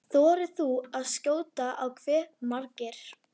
Þór Jónsson: Þorir þú að skjóta á hve margir?